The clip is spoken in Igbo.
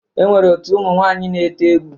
E nwere otu ụmụ nwaaǹyi na-ete egwu.